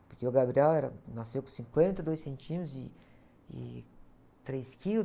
Porque o Gabriel era, nasceu com cinquenta e dois centímetros e, e três quilos.